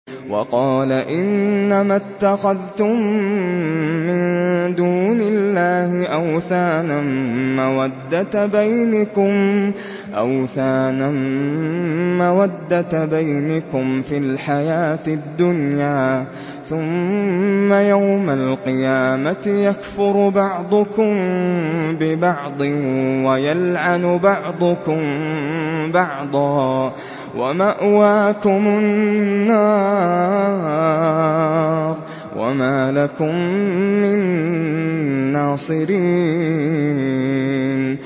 وَقَالَ إِنَّمَا اتَّخَذْتُم مِّن دُونِ اللَّهِ أَوْثَانًا مَّوَدَّةَ بَيْنِكُمْ فِي الْحَيَاةِ الدُّنْيَا ۖ ثُمَّ يَوْمَ الْقِيَامَةِ يَكْفُرُ بَعْضُكُم بِبَعْضٍ وَيَلْعَنُ بَعْضُكُم بَعْضًا وَمَأْوَاكُمُ النَّارُ وَمَا لَكُم مِّن نَّاصِرِينَ